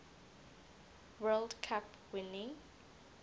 world cup winning